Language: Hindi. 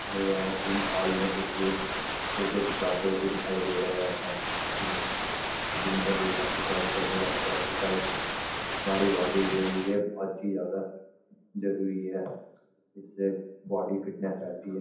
और यहाँ जिम हॉल मे कुछ लोड फोटो खिचवाते हुए दिखाई दे रहे हैं जिम जिम मे लोग एक्सर्साइज़ करने जाते हैं एक्सर्साइज़ हमारी बॉडी के लिए बहुत ही ज्यादा जरूरी है जिससे बॉडी फिटनेस रहती है|